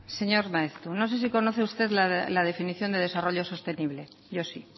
señor maeztu no sé si conoce usted la definición de desarrollo sostenible yo sí